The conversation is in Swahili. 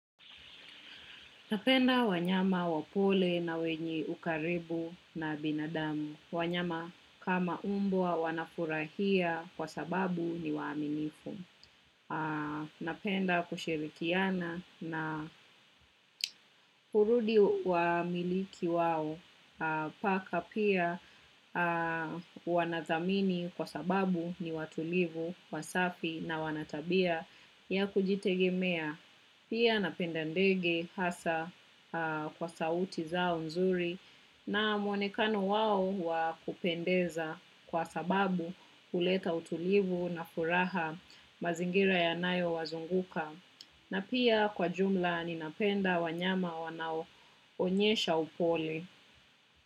Napenda wanyama wapole na wenye ukaribu na binadamu. Wanyama kama umbwa wanafurahia kwa sababu ni waaminifu. Napenda kushirikiana na hurudi wa miliki wao. Paka pia wanadhamini kwa sababu ni watulivu, wasafi na wana tabia ya kujitegemea. Pia napenda ndege hasa kwa sauti zao nzuri na mwonekano wao wakupendeza kwa sababu huleta utulivu na furaha mazingira ya nayo wazunguka. Na pia kwa jumla ninapenda wanyama wanaoonyesha upole.